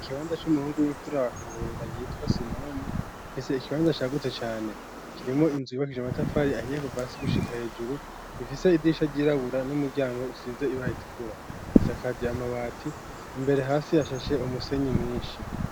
Ikibanza c'umuhungu w'imfura wa Kabura yitwa Simoni afise ikibanza cagutse cane kirimwo inzu yubakije amatafari ahiye kuva hasi gushika hejuru gifise idirisha ryirabura n'umuryango usize ibara ritukura isakaje amabati imbere hasi hashashe umusenyi mwinshi.